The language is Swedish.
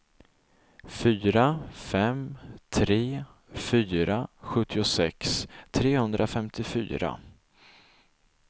fyra fem tre fyra sjuttiosex trehundrafemtiofyra